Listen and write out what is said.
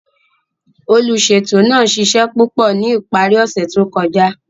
Oluṣeto naa n ṣiṣẹ pupọ ni ipari ose to kọja.